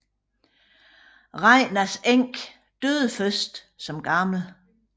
Regnars enke døde først som gammel